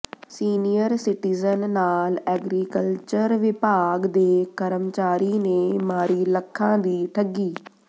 senior citizen ਨਾਲ agriculture ਵਿਭਾਗ ਦੇ ਕਰਮਚਾਰੀ ਨੇ ਮਾਰੀ ਲੱਖਾਂ ਦੀ ਠੱਗੀ